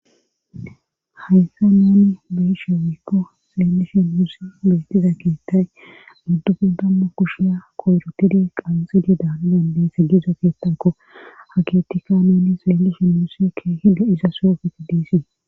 haysa nuni beyishe wikko seellishi muusi beetiza keettay guddubu damma kushiya koyrotidi qanxidi daanadande se gizo keettako hakitika neni seelishi musikke hida iza soofeke diisii